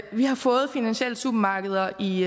vi har fået finansielle supermarkeder i